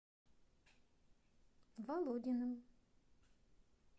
володиным